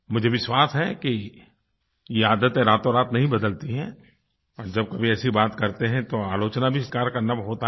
मुझे विश्वास है कि ये आदतें रातोंरात नहीं बदलती हैं और जब कभी ऐसी बात करते हैं तो आलोचना का भी शिकार होना होता है